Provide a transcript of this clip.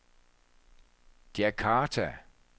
Djakarta